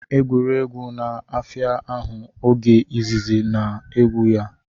Egwuregwu na-afịa ahụ oge izizi a na-egwu ya